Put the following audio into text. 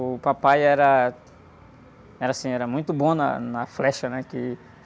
O papai era, era assim, era muito bom na flecha, né? Que...